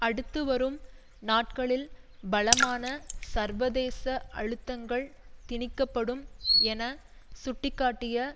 அடுத்துவரும் நாட்களில் பலமான சர்வதேச அழுத்தங்கள் திணிக்கப்படும் என சுட்டி காட்டிய